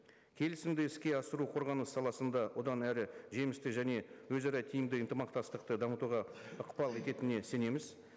келісімді іске асыру қорғаныс саласында одан әрі жемісті және өзара тиімді ынтымақтастықты дамытуға ықпал ететініне сенеміз